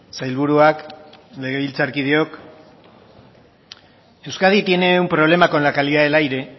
sailburuak legebiltzarkideok euskadi tiene un problema con la calidad del aire